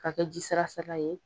K'a kɛ ji sara sara ye.